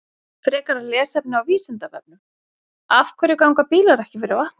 Frekara lesefni á Vísindavefnum: Af hverju ganga bílar ekki fyrir vatni?